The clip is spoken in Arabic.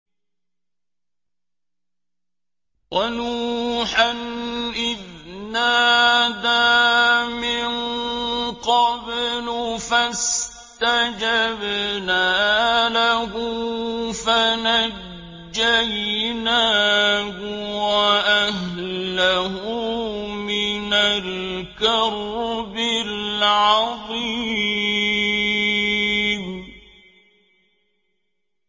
وَنُوحًا إِذْ نَادَىٰ مِن قَبْلُ فَاسْتَجَبْنَا لَهُ فَنَجَّيْنَاهُ وَأَهْلَهُ مِنَ الْكَرْبِ الْعَظِيمِ